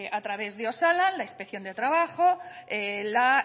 a través de osalan la inspección de trabajo la